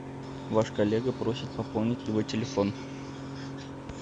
ваш коллега просит пополнить его телефон